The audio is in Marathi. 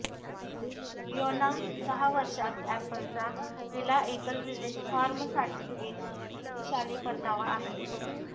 फियोना सहा वर्षांत ऍपलचा पहिला एकल रिलीज फॉर्मसाठी एक शक्तिशाली परतावा आहे